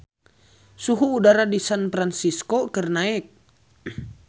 Suhu udara di San Fransisco keur naek